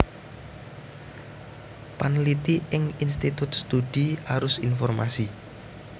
Panliti ing Institut Studi Arus Informasi